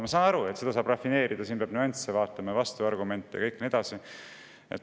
" Ma saan aru, et seda saab rafineerida, siin peab nüansse vaatama ja vastuargumente ja nii edasi.